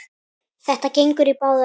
Þetta gengur í báðar áttir.